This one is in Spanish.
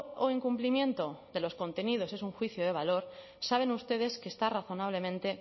o incumplimiento de los contenidos es un juicio de valor saben ustedes que está razonablemente